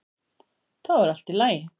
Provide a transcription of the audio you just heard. Þá er allt í lagi.